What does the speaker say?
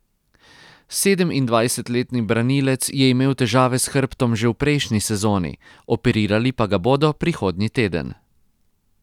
Sedemindvajsetletni branilec je imel težave s hrbtom že v prejšnji sezoni, operirali pa ga bodo prihodnji teden.